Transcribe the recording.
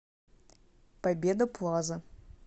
победа плаза